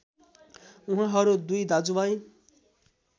उहाँहरू दुई दाजुभाइ